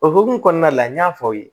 O hokumu kɔnɔna la n y'a fɔ aw ye